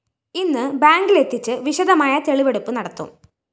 ഇന്ന്് ബാങ്കിലെത്തിച്ചു വിശദമായ തെളിവെടുപ്പ് നടത്തും